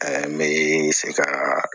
Ɛɛ n bɛ se ka